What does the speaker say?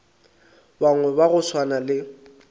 bangwe ba go swana le